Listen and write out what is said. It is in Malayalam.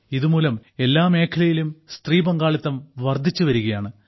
ഇതുമൂലം എല്ലാ മേഖലയിലും സ്ത്രീ പങ്കാളിത്തം വർധിച്ചുവരികയാണ്